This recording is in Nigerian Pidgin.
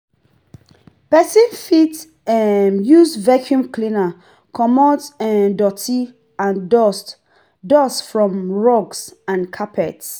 Person fit um use vacuum cleaner comot um doty and dust dust from rugs and carpets